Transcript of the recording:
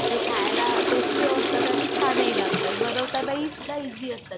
ते खायला टेस्टी असतात आणि छानही लागतत आणि बनावतना ही सुद्धा ईज़ी असतात ते